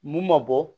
Mun ma bɔ